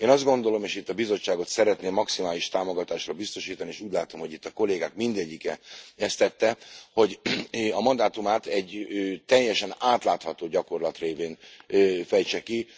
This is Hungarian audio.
Én azt gondolom, és itt a Bizottságot szeretném maximális támogatásról biztosítani, és úgy látom, hogy itt a kollégák mindegyike ezt tette, hogy a mandátumát egy teljesen átlátható gyakorlat révén fejtse ki.